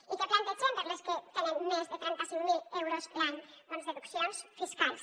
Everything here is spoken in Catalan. i què plantegem per a les que tenen més de trenta cinc mil euros l’any doncs deduccions fiscals